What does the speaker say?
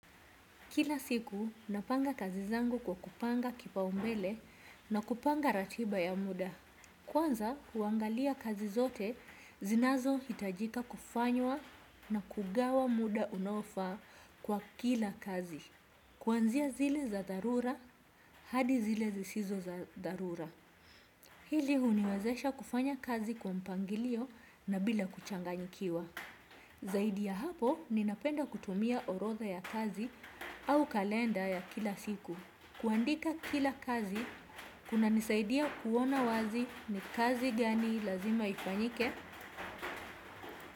Kila siku, napanga kazi zangu kwa kupanga kipaumbele na kupanga ratiba ya muda. Kwanza, huangalia kazi zote zinazo hitajika kufanywa na kugawa muda unaofaa kwa kila kazi. Kuanzia zile za dharura, hadi zile zisizo za dharura. Hili huniwezesha kufanya kazi kwa mpangilio na bila kuchanganyikiwa. Zaidi ya hapo, ninapenda kutumia orodha ya kazi, au kalenda ya kila siku. Kuandika kila kazi, kuna nisaidia kuona wazi ni kazi gani lazima ifanyike.